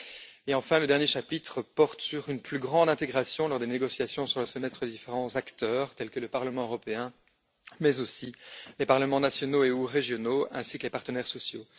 et, enfin, le dernier chapitre porte sur une plus grande intégration lors des négociations sur le Semestre des différents acteurs, tels que le Parlement européen, mais aussi les parlements nationaux et ou régionaux ainsi que les partenaires sociaux.